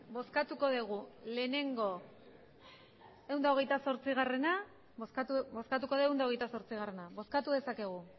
bozkatuko dugu lehenengo ehun eta hogeita zortzi bozkatu dezakegu